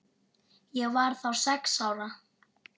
Ég var þá sex ára.